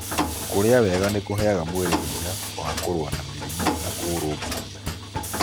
Kũrĩa wega nĩkũheaga mwĩrĩ hinya wa kũrũa na mĩrimũ na kũurumbuiya.